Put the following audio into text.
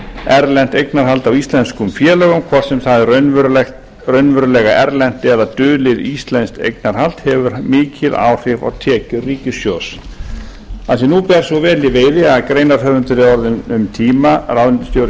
erlent eignarhald á íslenskum félögum hvort sem það er raunverulega erlent eða dulið íslenskt eignarhald hefur mikil áhrif á tekjur ríkissjóðs af því að nú ber svo vel í veiði að greinarhöfundur er orðinn um tíma ráðuneytisstjóri í fjármálaráðuneytinu